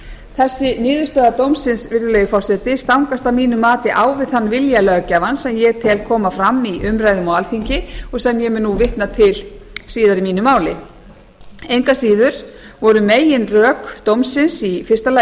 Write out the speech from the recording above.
þessi niðurstaða dómsins virðulegi forseti stangast að mínu mati á við þann vilja löggjafans sem ég tel koma fram í umræðum á alþingi og sem ég mun nú vitna til síðar í mínu máli engu að síður voru meginrök dómsins í fyrsta lagi þau að